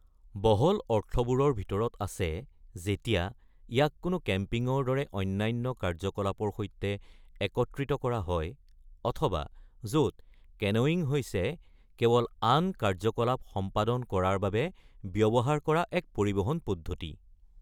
বহল অৰ্থবোৰৰ ভিতৰত আছে যেতিয়া ইয়াক কেনো কেম্পিংৰ দৰে অন্যান্য কাৰ্যকলাপৰ সৈতে একত্ৰিত কৰা হয় অথবা য'ত কেনোয়িং হৈছে কেৱল আন কাৰ্যকলাপ সম্পাদন কৰাৰ বাবে ব্যৱহাৰ কৰা এক পৰিবহন পদ্ধতি।